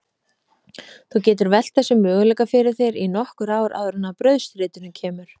Þú getur velt þessum möguleika fyrir þér í nokkur ár áður en að brauðstritinu kemur.